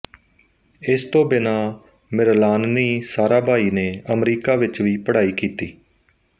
ਇਸ ਤੋਂ ਬਿਨਾਂ ਮਿਰਣਾਲਿਨੀ ਸਾਰਾਭਾਈ ਨੇ ਅਮਰੀਕਾ ਵਿੱਚ ਵੀ ਪੜ੍ਹਾਈ ਕੀਤੀ